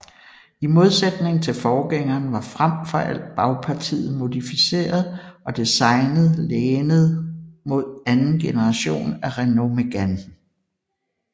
I modsætning til forgængeren var frem for alt bagpartiet modificeret og designet lænet mod anden generation af Renault Mégane